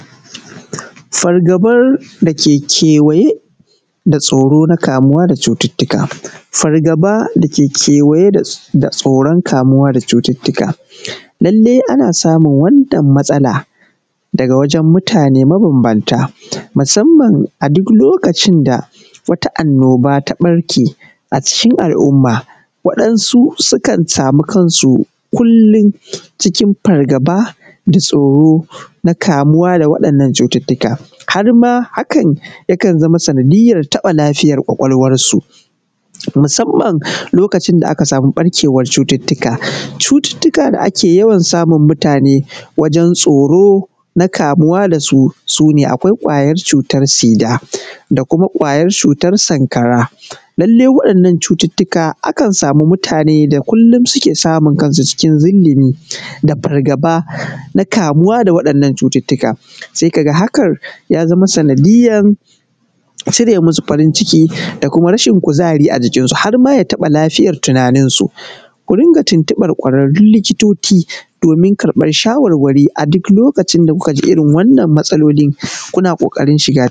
Fargaːban daː keː kewayeː da tsoːroː naː kaːmuwaː da cututtuːkaː. Fargaːbaː daː keː kewayeː da tsoːron kaːmuwaː da cututtuːkaː, lallaiː anaː saːmun wannan matsalaː dagaː wajen muːtaneː maːbambaːntaː, musamman aː duːk loːkacin daː waːtaː annoːbaː taː ɓarkeː aː cikin al’um’maː. Waɗansuː suːkan saːmuː kansuː kullum cikin fargaːbaː, da tsoːroː naː kaːmuwaː daː waɗannan cututtuːkaː, har maː hakan yaː kan zaːmaː saːnadiyyar taːbaː lafiyar ƙwaƙwaːl’wansuː, musamman loːkacin daː akaː saːmuː ɓarkeːwan cututtuːkaː. Cututtuːkaː daː akeː yaːwan saːmun muːtaneː wajen tsoːron kaːmuwaː daː suː suː neː Akwaːiː ƙwayar cutar Siːdaː, Daː kumaː ƙwayar cutar Sankaːraː. Lallaiː waɗannan cututtuːkaː akan saːmuː muːtaneː daː kullum suːkeː saːmun kansuː cikin zilliːmiː daː fargaːbaː naː kaːmuwaː daː waɗannan cututtuːkaː. Saiː kaː gaː hakan yanaː saːnadiyyar cireː muːsuː farin cikiː, daː kumaː rashin kuzariː aː jikinsuː, har maː yaː taːbaː lafiyar tunaninsuː. Kuː diŋgaː tintiːbar ƙwaraːrruːn likiːtoːciː domin ƙaːr’ɓar shaːwaːraːriː aː duːk loːkacin daː kuːkaː jiː irin wannan matsaloliː, kuːnaː ƙoːƙarin shigaː.